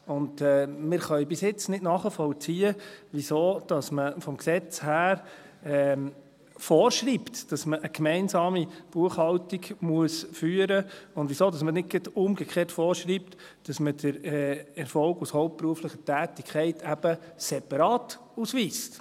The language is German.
Wir können bis jetzt nicht nachvollziehen, weshalb man vom Gesetz her vorschreibt, dass man eine gemeinsame Buchhaltung führen muss, und weshalb man nicht gerade umgekehrt vorschreibt, dass man den Erfolg aus hauptberuflicher Tätigkeit eben separat ausweist.